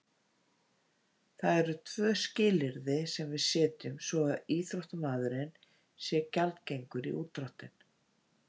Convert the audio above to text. Það eru tvö skilyrði sem við setjum svo að íþróttamaðurinn sé gjaldgengur í útdráttinn.